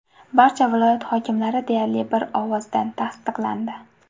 Barcha viloyat hokimlari deyarli bir ovozdan tasdiqlandi .